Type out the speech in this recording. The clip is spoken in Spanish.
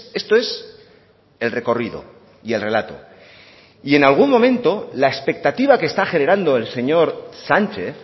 esto es el recorrido y el relato y en algún momento la expectativa que está generando el señor sánchez